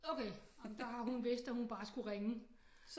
Okay ej men der har hun vidst at hun bare skulle ringe